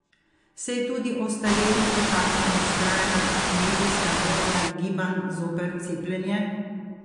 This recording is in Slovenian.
Se je tudi ostarelih dotaknila vztrajna medijska gonja gibanj zoper cepljenje?